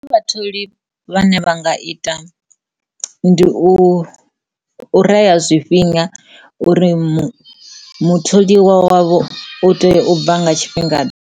Vhatholi vhane vha nga ita ndi u reya zwifhinga uri mutholiwa wavho u tea u bva nga tshifhinga ḓe?